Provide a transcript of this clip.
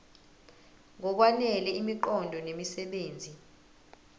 ngokwanele imiqondo nemisebenzi